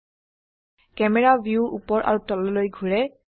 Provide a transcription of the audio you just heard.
camera view উপৰ আৰু তললৈ ঘোৰে